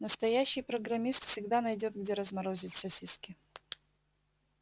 настоящий программист всегда найдёт где разморозить сосиски